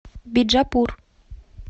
биджапур